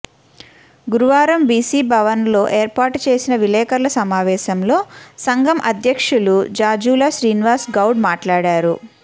గురువారం బీసీ భవన్లో ఏర్పాటు చేసిన విలేఖరుల సమావేశంలో సంఘం అధ్యక్షులు జాజుల శ్రీనివాస్ గౌడ్ మాట్లాడారు